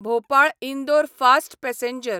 Bhopal Indore fast passenger